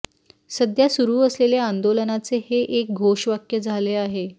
सध्या सुरू असलेल्या आंदोलनाचे हे एक घोषवाक्य झाले आहे